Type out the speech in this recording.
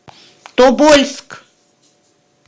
тобольск